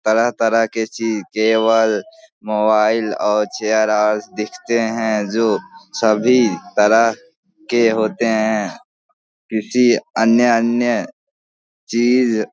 तरह-तरह के चीज जेवर मोबाइल और चेयर और दिखते हैं जो सभी तरह के होते हैं। किसी अन्य-अन्य चीज --